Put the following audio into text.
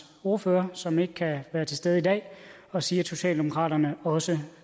ordfører som ikke kan være til stede i dag og sige at socialdemokraterne også